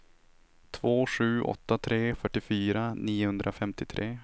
två sju åtta tre fyrtiofyra niohundrafemtiotre